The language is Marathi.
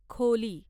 खोली